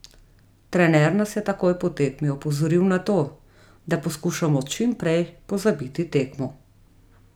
Trener nas je takoj po tekmi opozoril na to, da poskušamo čimprej pozabiti tekmo.